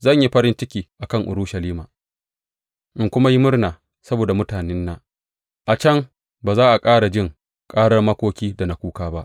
Zan yi farin ciki a kan Urushalima in kuma yi murna saboda mutanena; a can ba za a ƙara jin karar makoki da na kuka ba.